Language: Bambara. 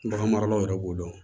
Bagan maralaw yɛrɛ b'o dɔn